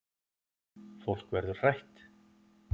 Fólk verður hrætt